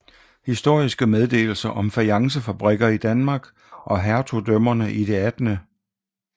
Historiske Meddelelser om Fajancefabriker i Danmark og Hertugdømmerne i det 18